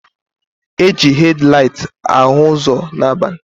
Eji hed laịt ahụ ụzọ n'abalị.